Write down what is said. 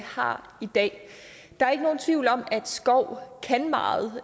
har i dag der er ikke nogen tvivl om at skov kan meget